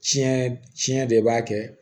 Tiɲɛ tiɲɛ de b'a kɛ